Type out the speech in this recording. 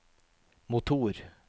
motor